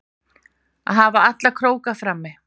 Að hafa alla króka frammi